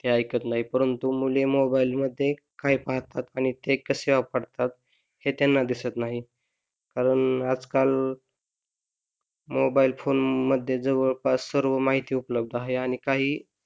ते ऐकत नाही परंतु मुले मोबाइल मध्ये काही पाहतात आणि ते कसे वापरात हे त्यांना दिसत नाही कारण आजकाल मोबाइल फोन मध्ये जवळपास सर्व माहिती उपलब्ध आहे आणि काही,